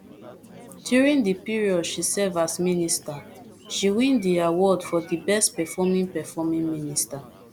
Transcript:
during di period she serve as minister she win di award for di best performing performing minister